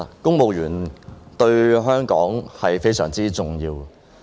公務員對香港非常重要。